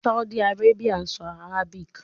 Saudi Arabia sọ Arabic